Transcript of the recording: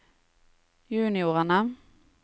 juniorene